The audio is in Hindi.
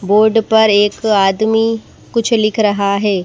बोर्ड पर एक आदमी कुछ लिख रहा है।